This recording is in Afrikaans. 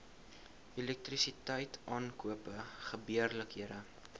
elektrisiteit aankope gebeurlikhede